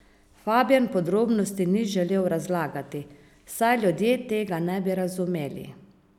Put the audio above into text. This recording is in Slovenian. Fabjan podrobnosti ni želel razlagati, saj ljudje tega ne bi razumeli.